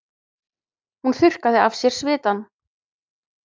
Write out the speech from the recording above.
Hún þurrkaði af sér svitann.